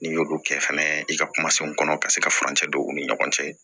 N'i y'olu kɛ fɛnɛ i ka kuma fɛnw kɔnɔ ka se ka furancɛ don u ni ɲɔgɔn cɛ